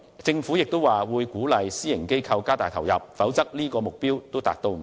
政府亦表示會鼓勵私營機構加大投入，否則連這個目標也未能達到。